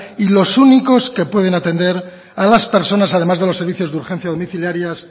y los únicos que pueden atender a las personas además de los servicios de urgencia domiciliarias